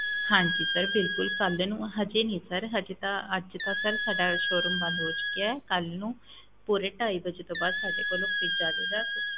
ਹਾਂਜੀ sir ਬਿਲਕੁਲ ਕੱਲ੍ਹ ਨੂੰ ਹਜੇ ਨੀ sir ਹਜੇ ਤਾ ਅੱਜ ਤਾਂ sir ਸਾਡਾ showroom ਬੰਦ ਹੋ ਚੁੱਕਿਆ ਹੈ ਕੱਲ੍ਹ ਨੁੰ ਪੂਰੇ ਢਾਈ ਵਜੇ ਤੋਂ ਬਾਅਦ ਸਾਡੇ ਕੋਲ ਉਹ fridge ਆ ਜਾਏਗਾ